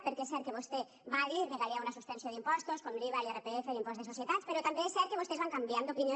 perquè és cert que vostè va dir que calia una suspensió d’impostos com l’iva l’irpf l’impost de societats però també és cert que vostès van canviant d’opinió